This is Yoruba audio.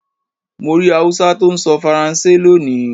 Mo rí Hausa tó ń sọ Faransé lónìí.